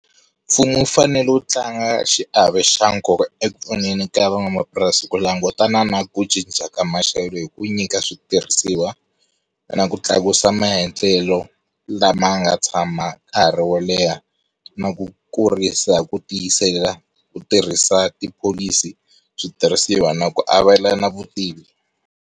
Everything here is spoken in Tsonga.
Mfumo wu fanele wu tlanga xiave xa nkoka eku pfuneni ka van'wamapurasi ku langutana na ku cinca ka maxelo hi ku nyika switirhisiwa, na ku tlakusa maendlelo lama nga tshama nkarhi wo leha na ku kurisa ku tiyisela ku tirhisa tipholisi switirhisiwa na ku avelana vutivi.